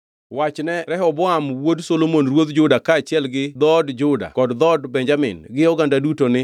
“Wachne Rehoboam wuod Solomon ruodh Juda kaachiel gi dhood Juda kod dhood Benjamin gi oganda duto ni,